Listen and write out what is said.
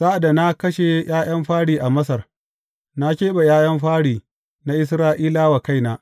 Sa’ad da na kashe ’ya’yan fari a Masar, na keɓe ’ya’yan fari na Isra’ilawa wa kaina.